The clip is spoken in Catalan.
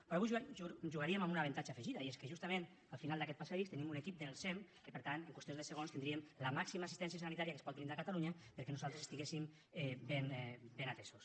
però avui jugaríem amb un avantatge afegit i és que justament al final d’aquest passadís tenim un equip del sem que per tant en qüestió de segons tindríem la màxima assistència sanitària que es pot brindar a catalunya perquè nosaltres estiguéssim ben atesos